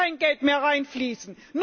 Da soll kein Geld mehr hineinfließen.